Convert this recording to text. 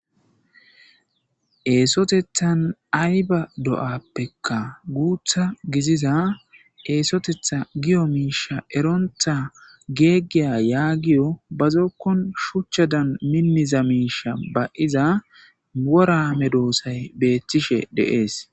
Eesotethan ay ba do'appekka guutha giziza eesotetha giyo miisha erontha geeggiya yaa giyo bazookkon shuchchadan minniza miisha ba'iza worame doosay beettishe deees.